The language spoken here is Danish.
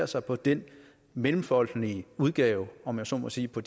sig på den mellemfolkelige udgave om jeg så må sige på